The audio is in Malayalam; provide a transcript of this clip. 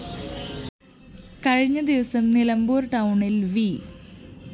കഴിഞ്ഞ ദിവസം നിലമ്പൂര്‍ ടൗണില്‍ വി